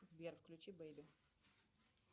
сбер включи бэйби